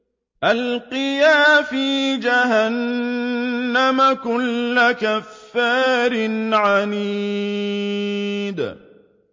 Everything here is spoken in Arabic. أَلْقِيَا فِي جَهَنَّمَ كُلَّ كَفَّارٍ عَنِيدٍ